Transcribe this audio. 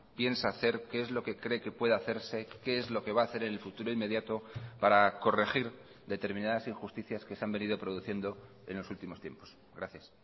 piensa hacer qué es lo que cree que puede hacerse qué es lo que va a hacer en el futuro inmediato para corregir determinadas injusticias que se han venido produciendo en los últimos tiempos gracias